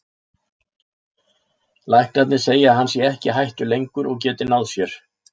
Læknarnir segja að hann sé ekki í hættu lengur og geti náð sér